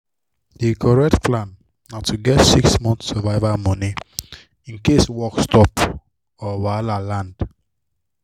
di correct plan na to get six months survival money in case work stop or wahala land.